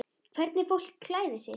Hvernig fólk klæðir sig.